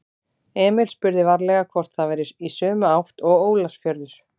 Emil spurði varlega hvort það væri í sömu átt og Ólafsfjörður.